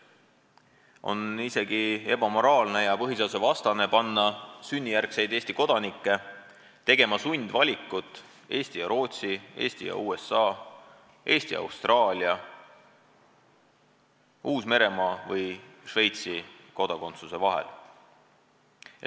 On isegi ebamoraalne ja põhiseadusvastane panna sünnijärgseid Eesti kodanikke tegema sundvalikut näiteks Eesti ja Rootsi, Eesti ja USA, Eesti ja Austraalia, Uus-Meremaa või Šveitsi kodakondsuse vahel.